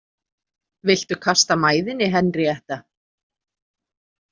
Viltu kasta mæðinni, Henríetta?